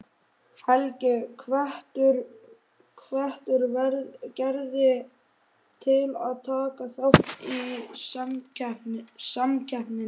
Helgi hvetur Gerði til að taka þátt í samkeppninni.